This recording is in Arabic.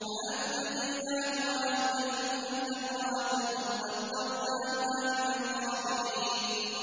فَأَنجَيْنَاهُ وَأَهْلَهُ إِلَّا امْرَأَتَهُ قَدَّرْنَاهَا مِنَ الْغَابِرِينَ